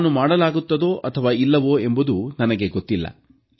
ಅದನ್ನು ಮಾಡಲಾಗುತ್ತದೋ ಅಥವಾ ಇಲ್ಲವೋ ಎಂಬುದು ನನಗೆ ಗೊತ್ತಿಲ್ಲ